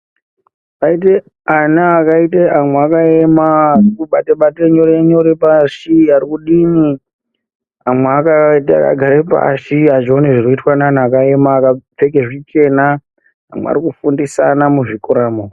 Paite ana akaita amwe akaema arikubatabata nyore nyore pashi ari kudii amwe akagara pashi azvioni zvikuitwa neanhu akaema akapfeke zvichena arikufundisana muzvikoramwo.